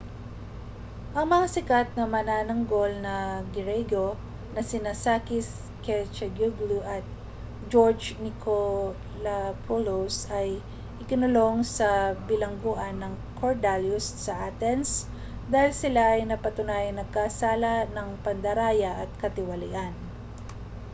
ang mga sikat na manananggol na griyego na sina sakis kechagioglou at george nikolakopoulos ay ikinulong sa bilangguan ng korydallus sa athens dahil sila ay napatunayang nagkasala ng pandaraya at katiwalian